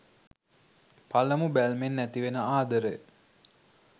පළමු බැල්මෙන් ඇතිවෙන ආදරය